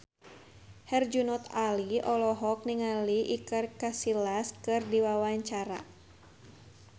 Herjunot Ali olohok ningali Iker Casillas keur diwawancara